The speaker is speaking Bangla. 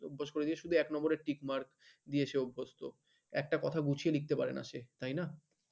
অভ্যাস করেছে এক number টিক মার দিয়েছে অভ্যস্ত একটা কথা গুছিওয়ে লিখতে পারেন সে তাই না?